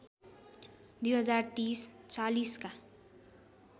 २०३० ४० का